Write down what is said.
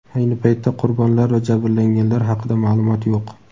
Ayni paytda qurbonlar va jabrlanganlar haqida ma’lumot yo‘q.